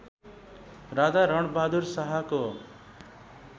राजा रणबहादुर शाहको